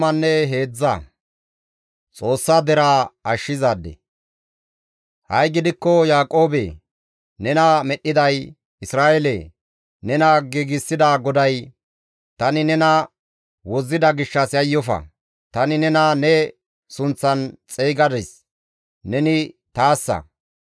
Ha7i gidikko Yaaqoobe, nena medhdhiday, Isra7eele! Nena giigsida GODAY, «Tani nena wozzida gishshas yayyofa. Tani nena ne sunththan xeygadis; neni taassa.